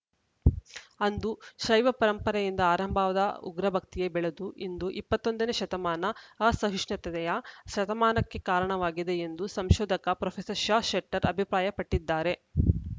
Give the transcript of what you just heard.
ಅಂದು ಶೈವಪರಂಪರೆಯಿಂದ ಆರಂಭವಾದ ಉಗ್ರಭಕ್ತಿಯೇ ಬೆಳೆದು ಇಂದು ಇಪ್ಪತ್ತ್ ಒಂದ ನೇ ಶತಮಾನ ಅಸಹಿಷ್ಣುತೆಯ ಶತಮಾನಕ್ಕೆ ಕಾರಣವಾಗಿದೆ ಎಂದು ಸಂಶೋಧಕ ಪ್ರೊಫೆಸರ್ ಷಶೆಟ್ಟರ್‌ ಅಭಿಪ್ರಾಯಪಟ್ಟಿದ್ದಾರೆ